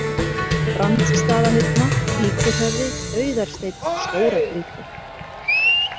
Brandsstaðahyrna, Víkurhöfði, Auðarsteinn, Stóragrýti